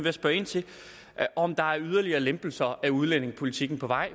at spørge ind til om der er yderligere lempelser af udlændingepolitikken på vej